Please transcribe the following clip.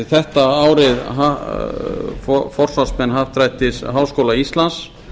þetta voru forsvarsmenn happdrættis háskóla íslands